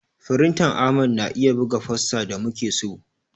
Firintan Ahmad na iya buga fosta da muke so.